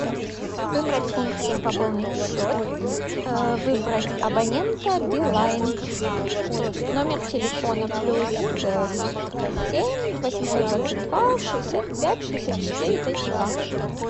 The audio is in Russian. выбрать функцию пополнить счет выбрать абонента билайн номер телефона плюс семь восемьсот двадцать два шестьдесят пять шестьдесят четыре тридцать два